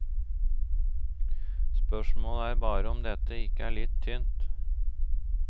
Spørsmålet er bare om dette ikke er litt tynt.